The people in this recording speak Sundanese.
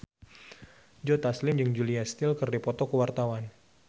Joe Taslim jeung Julia Stiles keur dipoto ku wartawan